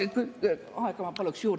Aega ma paluks juurde.